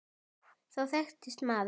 Þá þekkist maður.